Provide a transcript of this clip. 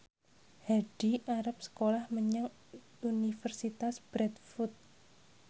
Hadi arep sekolah menyang Universitas Bradford